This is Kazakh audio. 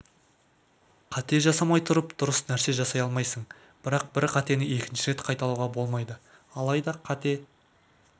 қате жасамай тұрып дұрыс нәрсе жасай алмайсың бірақ бір қатені екінші рет қайталауға болмайды алайда қате